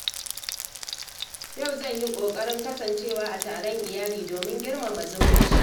Yau zan yi ƙoƙarin kasancewa a taron iyali domin girmama zumunci.